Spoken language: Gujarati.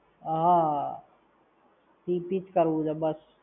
હા. પી-પી જ કરવું છે બસ.